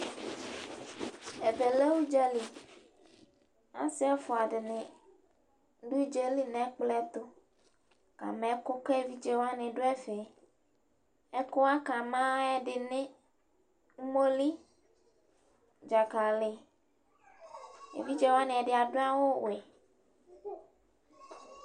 Ɛvɛ lɛ ʊdzali ,asɩ ɛfʋa dɩnɩ dʋ ʊdzali nʋ ɛ kplɔ yɛ tʋ ka ma ɛkʋ ka evidze wanɩ dʋ ɛfɛƐkʋ wa aka ma ƴɛ ɛdɩ ene:omoli dzakalɩevidze wanɩ ɛdɩ adʋ awʋ wɛ